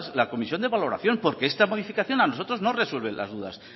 la comisión de valoración porque esta modificación a nosotros no nos resuelve las dudas